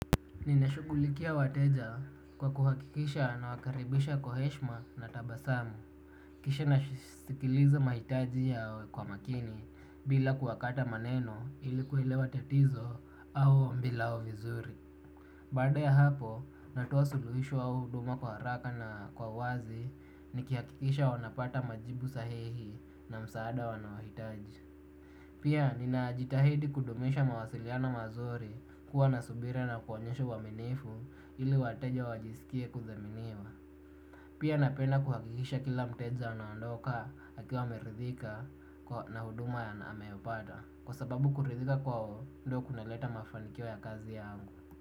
Ninashughulikia wateja kwa kuhakikisha na wakaribisha kwa heshma na tabasamu, kisha nasikiliza mahitaji yao kwa makini bila kuwakata maneno ili kuelewa tatizo au ombi lao vizuri. Baada ya hapo, natoa suluhisho au huduma kwa haraka na kwa wazi, nikihakikisha wanapata majibu sahihi na msaada wanaohitaji. Pia ninajitahidi kudumisha mawasiliana mazuri kuwa na subira na kuwaonyesha uaminifu ili wateja wajisikie kuthaminiwa. Pia napenda kuhakikisha kila mteja anaondoka akiwa ameridhika na huduma ya anameyopata. Kwa sababu kuridhika kwao ndiko kunaleta mafanikio yangu.